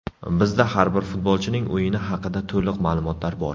Bizda har bir futbolchining o‘yini haqida to‘liq ma’lumotlar bor.